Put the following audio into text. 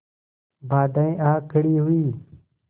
बाधाऍं आ खड़ी हुई